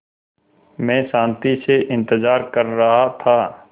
मैं शान्ति से इंतज़ार कर रहा था